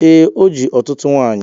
Ee, o ji ọtụtụ nwanyị